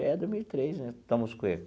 É dois mil e três né estamos o que.